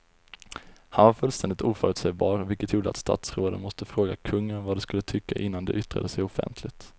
Han var fullständigt oförutsägbar vilket gjorde att statsråden måste fråga kungen vad de skulle tycka innan de yttrade sig offentligt.